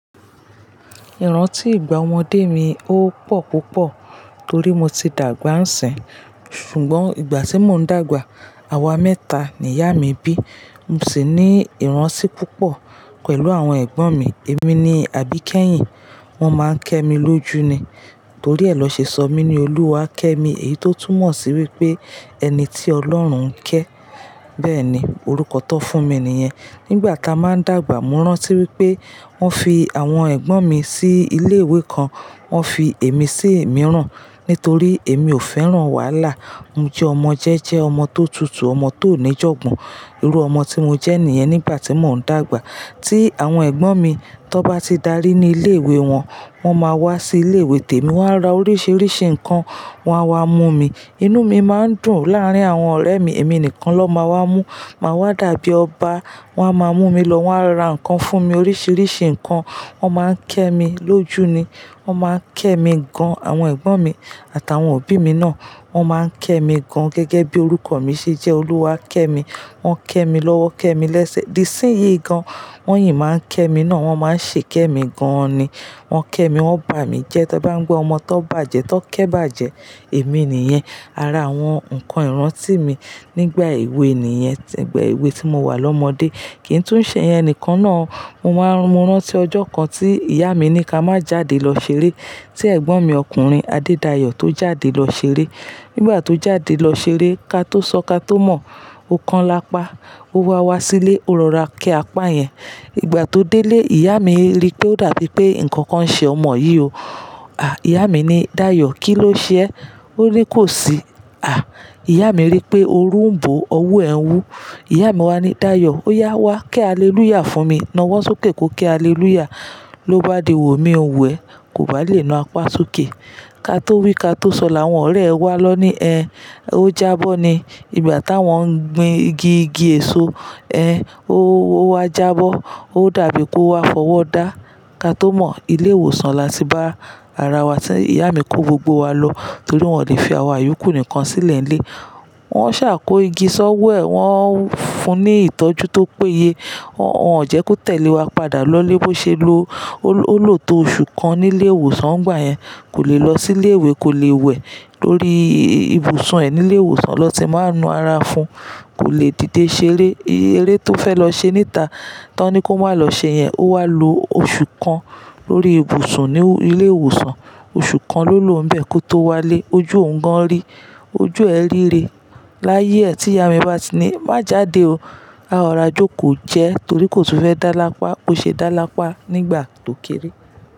Ìrántí ìgbà ọmọdé mi ó pọ̀ púpọ̀ torí mo ti dàgbà ń sìn. Ṣùgbọ́n ìgbà tí mò ń dàgbà, àwa mẹ́ta ni ìyá mi bí. Mo sì ní ìrántí púpọ̀ pẹ̀lú àwọn ẹ̀gbọ́n mi. Èmi ni àbí kẹ́yìn. Wọ́n máa ń kẹ́ mi lójú ni. Torí ẹ lọ ṣe sọ mí ní Olúwákẹ́mi, èyí tó túmọ̀ sí wípé ẹni tí Ọlọ́run ń kẹ́. Bẹ́ẹ̀ ni, orúkọ tó fún mi ni iyẹn. Nígbà táa máa ń dàgbà, mo rántí wípé wọ́n fi àwọn ẹ̀gbọ́n mi sí ilé ìwé kan, wọ́n fi èmi sí ìmíràn nítorí èmi ò fẹ́ràn wàhálà. Mo jẹ́ ọmọ jẹ́jẹ́, ọmọ tó tutù, ọmọ tió ní jọ̀gbọ́n. Irú ọmọ tí mo jẹ́ nìyẹn nígbà tí mò ń dàgbà. Tí àwọn ẹ̀gbọ́n mi tó bá ti darí ní ilé ìwé wọn, wọ́n máa wá sí ilé ìwé tèmi, wọ́n á ra oríṣiríṣi nǹkan, wọn á wá mú mi. Inú mi máa ń dùn láàrín àwọn ọ̀rẹ́ mi. Èmi nìkan ló máa wá mú. Máa wá dàbí ọba. Wọ́n á máa mú mi lọ, wọ́n á ra nǹkan fún mi, oríṣiríṣi nǹkan. Wọ́n máa ń kẹ́ mi lójú ni. Wọ́n máa ń kẹ́ mi gan. Àwọn ẹ̀gbọ́n mi àtàwọn òbí mi náà wọ́n máa ń kẹ́ mi gan gẹ́gẹ́ bí orúkọ mi ṣe jẹ́ Olúwákẹ́mi. Wọ́n kẹ́ mi lọ́wọ́, kẹ́ mi lẹ́sẹ̀, di sínyín gan. Wọ́n yìí máa ń kẹ́ mi náà. Wọ́n máa ń ṣe kẹ́ mi gan ni. Wọ́n kẹ́ mi, wọ́n bà mí jẹ. Tí ẹ bá ń gbọ́ ọmọ t'ón bàjẹ́, t'ón kẹ́ bàjẹ́, èmi ni ìyẹn. Ara àwọn, nǹkan ìrántí mi nígbà èwe ni ìyẹn, nígbà èwe tí mo wà lọ́mọdé. Kì í tún ṣe ìyẹn nìkan náà. Mo máa n-- mo rántí ọjọ́ kan tí ìyá mi ní ká má jáde lọ ṣeré. Tí ẹ̀gbọ́n mi ọkùnrin Adedayo tó jáde lọ ṣeré. Nígbà tó jáde lọ ṣeré, ka tó sọ, ka tó mọ̀, o kan lápá. Ó wá wá sílé, ó rọra kẹ́ apa yẹn. Ìgbà tó délé, ìyá mi rí pé ó dàbí pé nǹkan kan ṣe ọmọ yìí o. À! Ìyá mi ní, "Dayọ̀, kí ló ṣe ẹ?" Ó ní kò sí. À! Ìyá mi rí pé orúnmbo owú ẹ ń wú. Ìyá mi wá ní, "Dayọ̀, ó yá wá, ké alelúyà fún mi." Nawọ sókè, kó ké alelúyà. Ló bá di wò, mi nwò ẹ̀. Kò bá lè nu apá sókè. Ka tó wí, ka tó sọ, làwọn ọ̀rẹ́ ẹ wá lọ ní, "Ẹ́, ó jábọ́ ni." Ìgbà táa wọ́n ń gbin igi, igi èso, ẹ́, ó wá jábọ́. Ó dàbí pé ó wá fọwọ́ dá. Ka tó mọ̀, ilé ìwòsàn la ti bá ara wa tán. Ìyá mi kó gbogbo wa lọ torí wọn lè fi àwa ìyòkù nìkan sílẹ̀ ní ilé. Wọ́n sá kọ́ igi ṣọ́wọ́ ẹ, wọ́n ń fún un ní ìtọ́jú tó péye. Wọ́n jẹ́ kó tẹ̀lé wa padà lọlé bó ṣe lo. Ó lò tó oṣù kan nílé ìwòsàn. Ìgbà yẹn kò lè lọ sílé ìwé, kò lè wẹ̀ torí ibùsùn ẹ nílé ìwòsàn ló ti máa ń nu ara fún. Kò lè dìde ṣeré. Eré tó fẹ́ lọ ṣe níta, tọ́ní kó má lọ ṣe yẹn. Ó wá lo oṣù kan lórí ibùsùn ní ilé ìwòsàn. Oṣù kan ló lò n'bẹ kó tó wá lé. Ojú òun gan rí. Ojú ẹ ríre. Láyé ẹ́ tí ìyá mi bá ti ní, "Má jáde o. A o ra jókòó jẹ torí kò tún fẹ́ dá lápá." Kò ṣe dá lápá nígbà tó kéré.